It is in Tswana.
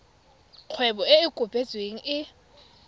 kgwebo e e kopetsweng e